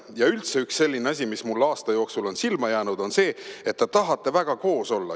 Ja üldse üks selline asi, mis mulle aasta jooksul on silma jäänud, on see, et te tahate väga koos olla.